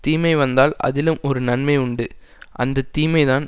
தீமை வந்தால் அதிலும் ஒரு நன்மை உண்டு அந்த தீமைதான்